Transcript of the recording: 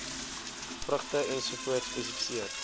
vrugte ens spesifiseer